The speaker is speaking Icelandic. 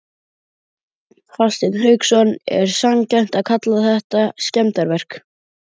Hafsteinn Hauksson: Er sanngjarnt að kalla þetta skemmdarverk?